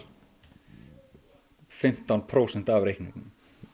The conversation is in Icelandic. fimmtán prósent af reikningnum